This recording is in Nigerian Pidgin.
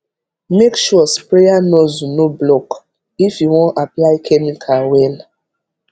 make sure sprayer nozzle no block if you wan apply chemical well